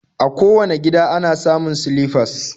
A kowane gida ana samun silifas